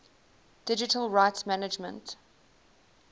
digital rights management